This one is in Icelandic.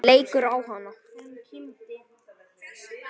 Leikur á hana.